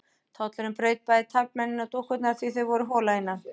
Tollurinn braut bæði taflmennina og dúkkurnar því þau voru hol að innan.